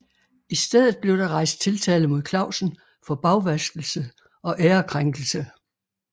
I stedet blev der rejst tiltale mod Clausen for bagvaskelse og ærekrænkelse